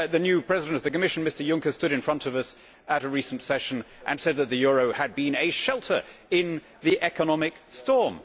The new President of the Commission, Mr Juncker, stood in front of us at a recent session and said that the euro had been a shelter in the economic storm.